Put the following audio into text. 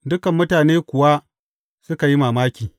Dukan mutane kuwa suka yi mamaki.